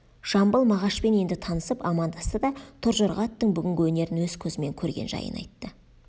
жамбыл мағашпен енді танысып амандасты да торжорға аттың бүгінгі өнерін өз көзімен көрген жайын айтты